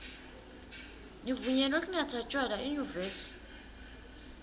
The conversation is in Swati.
nivunyelwe kunatsa tjwala enyuvesi